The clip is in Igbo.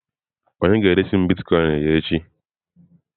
Onye ga-eresi m Bitkoinsị ya n'echi?